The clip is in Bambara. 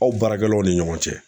Aw baarakɛlaw ni ɲɔgɔn cɛ